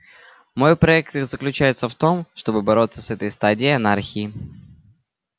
мой проект и заключается в том чтобы бороться с этой стадией анархии